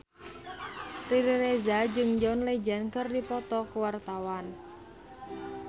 Riri Reza jeung John Legend keur dipoto ku wartawan